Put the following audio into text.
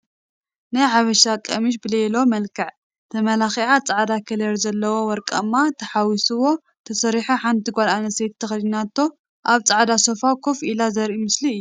ናይ ሓበሻ ቀምስሽ ብቤሎ መልክዕ ተመላኪዑ ፃዕዳ ከለር ዘለዎ ወርቃማ ተሓዊስዎ ተሰሪሑ ሓንቲ ጋል ኣንስተይቲ ተከዲናቶ ኣብ ፃዕዳ ሶፋ ኮፍ ኢላ ዘርኢ ምስሊ እዩ።